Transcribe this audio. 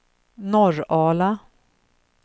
Norrala